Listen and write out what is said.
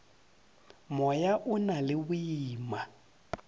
moya o na le boima